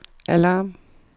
alarm